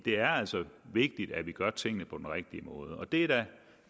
er altså vigtigt at vi gør tingene på den rigtige måde og det